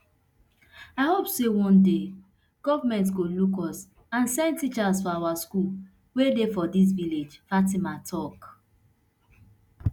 i hope say one day goment go look us and send teachers for our schools wey dey for dis village fatima tok